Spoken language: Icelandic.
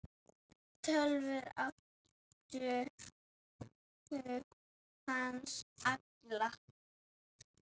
Tölvur áttu hug hans allan.